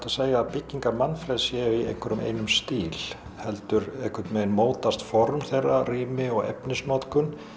segja að byggingar Manfreðs séu í einhverjum einum stíl heldur einhvern veginn mótast form þeirra rými og efnisnotkun